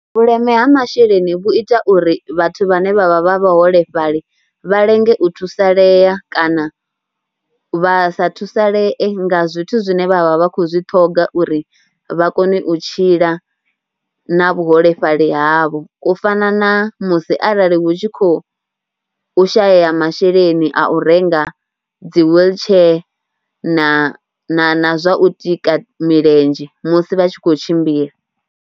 Vhuleme ha masheleni vhu ita uri vhathu vhane vha vha vha vhaholefhali vha lenge u thusalea kana vha sa thusalee nga zwithu zwine vha vha vha khou zwi ṱhoga uri vha kone u tshila na vhuholefhali havho. U fana na musi arali hu tshi khou shayeya masheleni a u renga dzi wheelchair na na zwa u tika milenzhe musi vha tshi khou tshimbila.